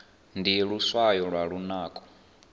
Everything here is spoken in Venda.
ndi luswayo lwa lunako